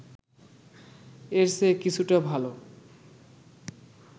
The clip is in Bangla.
এর চেয়ে কিছুটা ভালো